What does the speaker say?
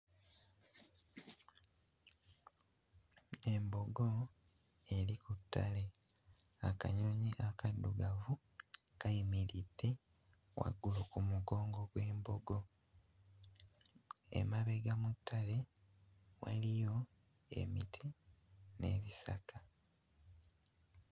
Embogo eri ku ttale. Akanyonyi akaddugavu kayimiridde waggulu ku mugongo gw'embogo. Emabega mu ttale waliyo emiti n'ebisaka.